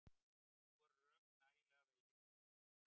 Nú eru öll rök nægilega vegin og metin.